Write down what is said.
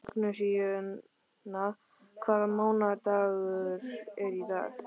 Magnúsína, hvaða mánaðardagur er í dag?